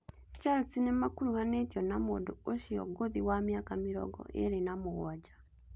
Chelsea nĩmakuruhanĩtio na mũndũ ũcio ngũthi wa mĩaka mĩrongo ĩĩrĩ na mũgwanja